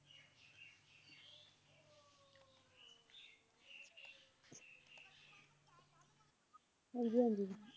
ਹਾਂਜੀ ਹਾਂਜੀ